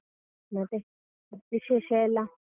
ಮತ್ತೆ ವಿಶೇಷ ಎಲ್ಲ?